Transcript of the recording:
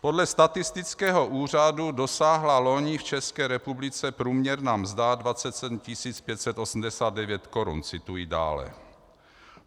"Podle statistického úřadu dosáhla loni v České republice průměrná mzda 27 589 korun," cituji dále.